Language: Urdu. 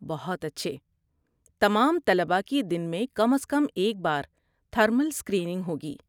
بہت اچھے! تمام طلبہ کی دن میں کم از کم ایک بار تھرمل اسکریننگ ہوگی۔